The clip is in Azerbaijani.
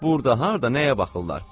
Burda harda nəyə baxırlar?